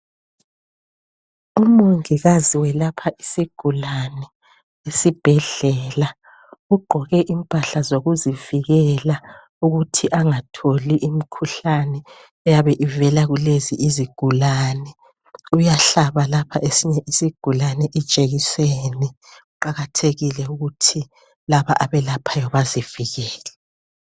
Umongikazi welapha isigulane esibhedlela ugqoke impahla zokuzivikela ukuthi angatholi imkhuhlane eyabe ivela kuzigulane. Uyahlabalapha esinye isigulane ijekiseni. Kuqakathekile ukuthi laba abelaphayi bazivikele.